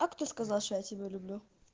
а кто сказал что я тебя люблю